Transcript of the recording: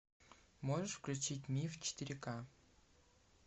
можешь включить миф четыре ка